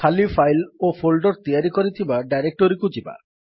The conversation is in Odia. ଖାଲି ଫାଇଲ୍ ଓ ଫୋଲ୍ଡର୍ ତିଆରି କରିଥିବା ଡାଇରେକ୍ଟୋରୀକୁ ଯିବା